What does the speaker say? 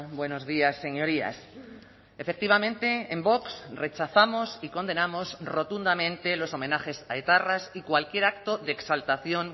buenos días señorías efectivamente en vox rechazamos y condenamos rotundamente los homenajes a etarras y cualquier acto de exaltación